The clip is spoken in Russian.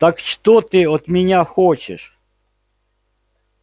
так что ты от меня хочешь